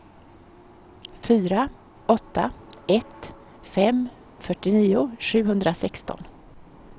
fyra åtta ett fem fyrtionio sjuhundrasexton